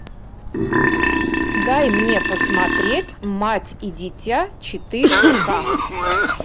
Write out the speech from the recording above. дай мне посмотреть мать и дитя четыре ка